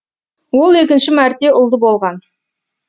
ол екінші мәрте ұлды болған